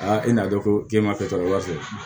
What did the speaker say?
i n'a dɔn ko k'e ma kɛ tala fɛ